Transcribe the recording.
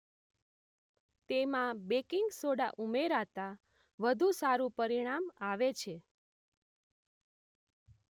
તેમાં baking soda ઉમેરાતા વધુ સારું પરિણામ આવે છે